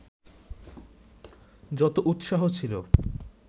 যত উৎসাহ ছিল